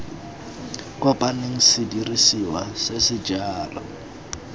kopaneng sedirisiwa se se jalo